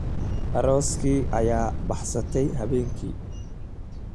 Arooskii ayaa baxsaday habeenkii.